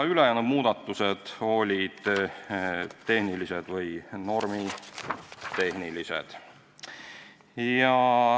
Ülejäänud muudatusettepanekud olid tehnilised või normitehnilised.